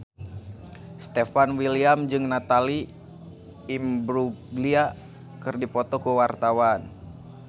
Stefan William jeung Natalie Imbruglia keur dipoto ku wartawan